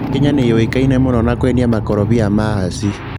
Kenya nĩyũĩkaine mũno na kwendia mĩkorobia ya hasi.